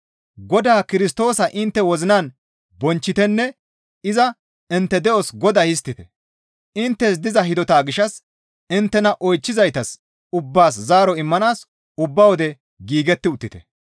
Godaa Kirstoosa intte wozinan bonchchitenne iza intte de7os Godaa histtite; inttes diza hidota gishshas inttena oychchizaytas ubbaas zaaro immanaas ubba wode giigetti uttite.